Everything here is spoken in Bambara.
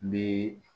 N bɛ